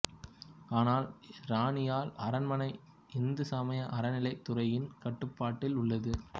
ஆனால் இரணியல் அரண்மனை இந்து சமய அறநிலையத் துறையின் கட்டுப்பாட்டில் உள்ளது